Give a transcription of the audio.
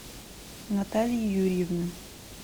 натальи юрьевны